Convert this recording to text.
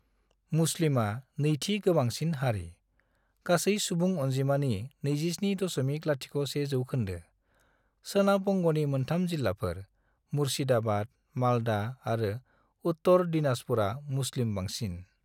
मुस्लिमा नैथि गोबांसिन हारि, गासै सुबुं अनजिमानि 27.01 जौखोन्दो, सोनाब बंग'नि मोनथाम जिल्लाफोर: मुर्शिदाबाद, मालदा आरो उत्तर दिनाजपुरा मुस्लिम बांसिन।